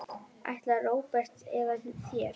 Ætlar Róbert með þér?